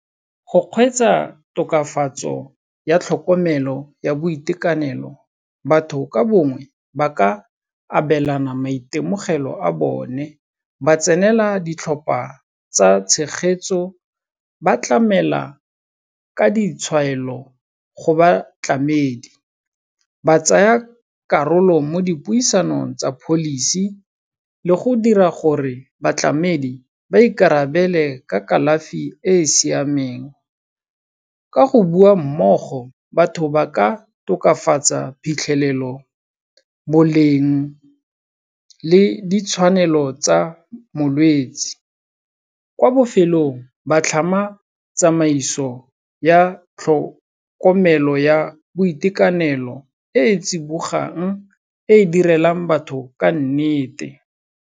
Go kgweetsa tokafatso ya tlhokomelo ya boitekanelo, batho ka bongwe ba ka abelana maitemogelo a bone, ba tsenela ditlhopha tsa tshegetso, ba tlamela ka ditshwaelo go batlamedi, ba tsaya karolo mo dipuisanong tsa policy le go dira gore batlamedi ba ikarabele ka kalafi e e siameng. Ka go bua mmogo, batho ba ka tokafatsa phitlhelelo, boleng le ditshwanelo tsa molwetsi. Kwa bofelong, ba tlhama tsamaiso ya tlhokomelo ya boitekanelo, e e tsibogang e direlang batho ka nnete.